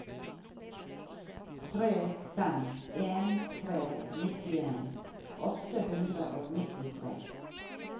tre fem en tre nittien åtte hundre og nittitre